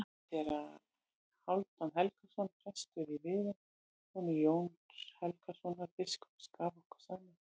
Séra Hálfdan Helgason, prestur í Viðey, sonur Jóns Helgasonar biskups, gaf okkur saman.